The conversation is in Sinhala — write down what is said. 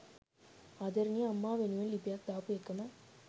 ආදරණීය අම්මා වෙනුවෙන් ලිපියක් දාපු එකම